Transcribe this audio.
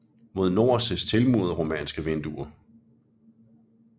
Mod nord ses tilmurede romanske vinduer